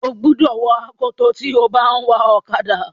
ó gbúdọ̀ wọ akoto tí o bá ń wa ọ̀kadà.